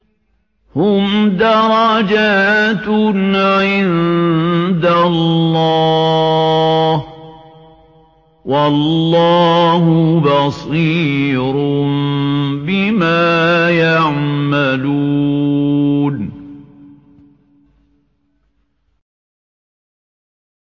هُمْ دَرَجَاتٌ عِندَ اللَّهِ ۗ وَاللَّهُ بَصِيرٌ بِمَا يَعْمَلُونَ